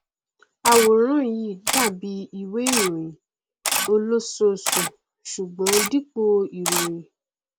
àwòrán yìí dàbí i ìwé ìròhìn olóṣooṣù ṣùgbọn dípò ìròyìn